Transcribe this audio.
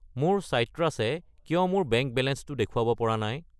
মোৰ চাইট্ৰাছ য়ে কিয় মোৰ বেংক বেলেঞ্চটো দেখুৱাব পৰা নাই?